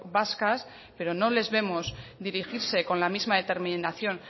vascas pero no les vemos dirigirse con la misma determinación